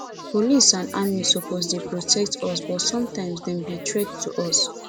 police and army suppose dey protect us but sometimes dem be threat to us